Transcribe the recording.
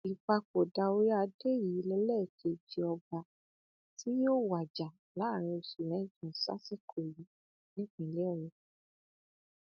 ìpapòdà orí adé yìí lélẹkeje ọba tí yóò wájà láàárin oṣù mẹjọ sásìkò yìí nípínlẹ ọyọ